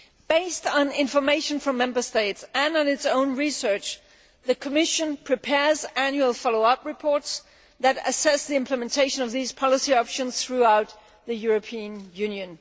Based on information from Member States and on its own research, the Commission prepares annual follow up reports that assess the implementation of these policy options throughout the European Union.